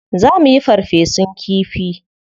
Za muyi farfesun kifi.